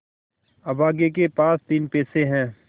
अभागे के पास तीन पैसे है